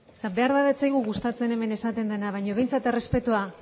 beharbada ez zaigu gustatzen hemen esaten dena baina behintzat errespetoa jarraitu bai